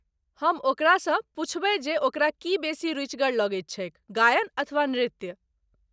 हम ओकरासँ पूछबै जे ओकरा की बेसी रुचिकर लगैत छैक, गायन अथवा नृत्य।